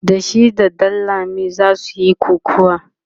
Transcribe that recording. da shi da ɗanlami zasu Yi kokawa